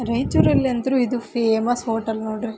ರಾಯಚೂರಲ್ಲಿ ಅಂದ್ರು ಇದು famous hotel ನೋಡ್ರಿ.